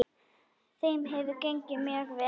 Þeim hefur gengið mjög vel.